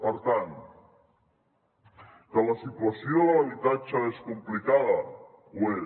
per tant que la situació de l’habitatge és complicada ho és